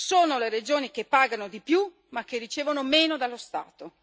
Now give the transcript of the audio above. Sono le regioni che pagano di più ma che ricevono meno dallo Stato.